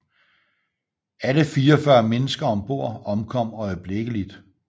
Alle 44 mennesker om bord omkom øjeblikkeligt